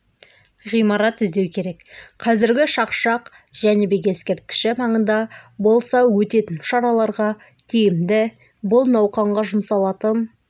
ғимарат іздеу керек қазіргі шақшақ жәнібек ескерткіші маңында болса өтетін шараларға тиімді бұл науқанға жұмсалатын